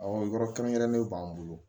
Awɔ yɔrɔ kɛrɛnkɛrɛnnen b'an bolo